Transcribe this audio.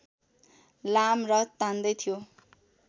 लाम रथ तान्दै थियो